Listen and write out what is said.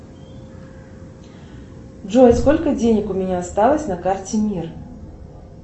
джой сколько денег у меня осталось на карте мир